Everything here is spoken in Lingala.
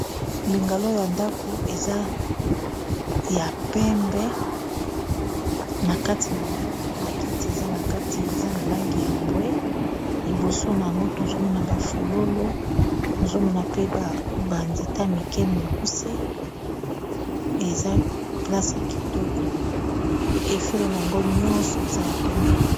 mbengaloo ya ndako eza ya pembe na kati na yango bakiti eza na kati eza na langi ya mbwe liboso na yango tozomona bafololo tozomona pe banzeta mike mikuse eza plasa kitoko efelo na yango nyonso eza ya pembe